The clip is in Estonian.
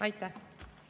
Aitäh!